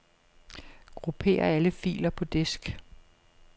Grupper alle filer på disk.